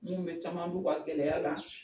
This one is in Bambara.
Mun bɛ caman b'u ka gɛlɛya la.